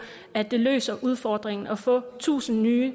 at det løser udfordringen at vi får tusind nye